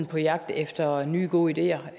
på jagt efter nye gode ideer